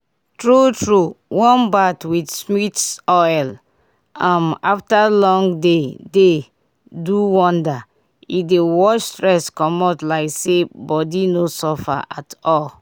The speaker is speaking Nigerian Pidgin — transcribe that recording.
true true warm bath with sweets oil um after long day dey do wonder—e dey wash stress commot like say body no suffer at all.